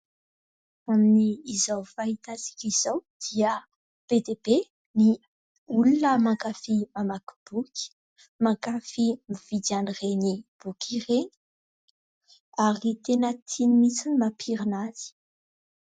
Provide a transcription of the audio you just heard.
Amin'izao fahita antsika izao dia be dia be ny olona mankafia mamaky boky, mankafia mividy anireny boky ireny; ary tena tiany mihitsy ny mampirina azy.